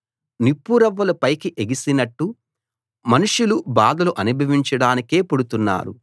నిప్పురవ్వలు పైకి ఎగిసినట్టు మనుషులు బాధలు అనుభవించడానికే పుడుతున్నారు